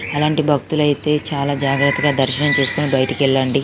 అలంటి భక్తులైతే చాల జాగ్రత్తగా దర్శనం చేసుకొని బయటికి వెళ్ళండి